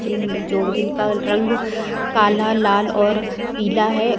जिन जो जिनका रंग काला लाल और पीला है।